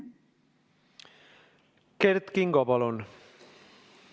Kert Kingo, palun!